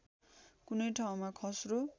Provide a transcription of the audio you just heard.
कुनै ठाउँमा खस्रो